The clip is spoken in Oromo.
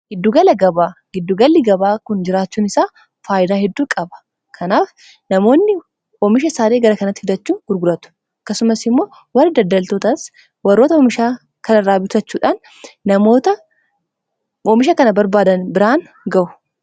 Giddugalli gabaa kun jiraachuun isaa faayidaa hedduu qaba. kanaaf namoonni oomisha issaan gara kanatti fidachuun gurguratu. kasumas immoo warri daddaltootaas warroota oomishaa kanarraa bitachuudhaan namoota oomisha kana barbaadan biraan ga'u.